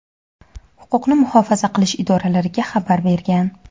huquqni muhofaza qilish idoralariga xabar bergan.